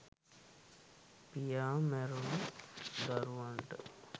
පියා මැරුණ දරුවන්ට